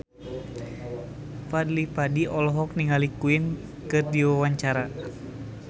Fadly Padi olohok ningali Queen keur diwawancara